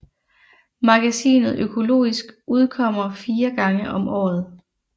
Magasinet Økologisk udkommer 4 gange om året